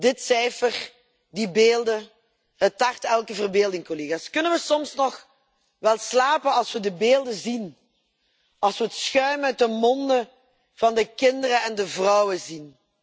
Dit cijfer, die beelden, het tart elke verbeelding. Kunnen we soms nog wel slapen als we de beelden zien, als we het schuim uit de monden van de kinderen en de vrouwen zien?